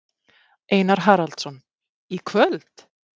Einar Haraldsson: Í kvöld?